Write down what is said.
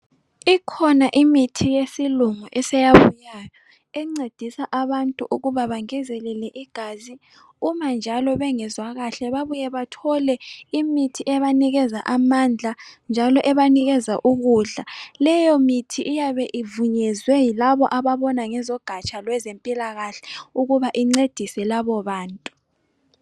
Ikhona imithi yesilungu eseyabuyayo encedisa abantu ukuba bengezelele igazi. Uma njalo bengezwa kahle babuye bathole imithi ebanikeza amandla njalo ebanikeza ukudla. Leyo mithi iyabe ivunyezwe yilabo ababona ngezogatsha lwezempilakahle ukuba incedise labo bantu.